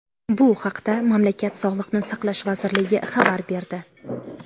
Bu haqda mamlakat Sog‘liqni saqlash vazirligi xabar berdi .